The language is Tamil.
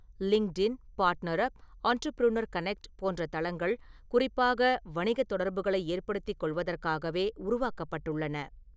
லிங்க்டுஇன், பார்ட்னர்அப், ஆன்டர்ப்ரூனர்கனெக்ட் போன்ற தளங்கள் குறிப்பாக வணிகத் தொடர்புகளை ஏற்படுத்திக் கொள்வதற்காகவே உருவாக்கப்பட்டுள்ளன.